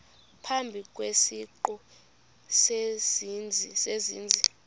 phambi kwesiqu sezenzi